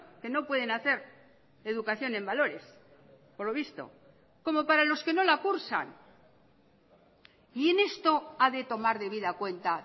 que no pueden hacer educación en valores por lo visto como para los que no la cursan y en esto ha de tomar debida cuenta